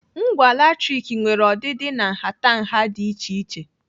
Ngwa latrik nwere ọdịdị na nhatanha dị iche iche.